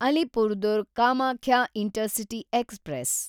Alipurduar Kamakhya intercity express